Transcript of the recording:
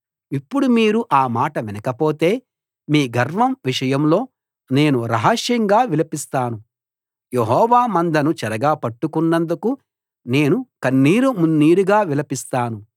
ఇప్పుడు మీరు ఆ మాట వినకపోతే మీ గర్వం విషయంలో నేను రహస్యంగా విలపిస్తాను యెహోవా మందను చెరగా పట్టుకున్నందుకు నేను కన్నీరు మున్నీరుగా విలపిస్తాను